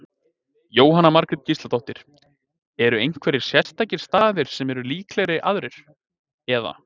Jóhanna Margrét Gísladóttir: Eru einhverjir sérstakir staðir sem eru líklegri aðrir, eða?